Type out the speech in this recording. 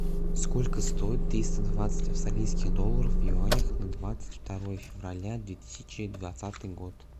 сколько стоит триста двадцать австралийских долларов в юанях на двадцать второе февраля две тысячи двадцатый год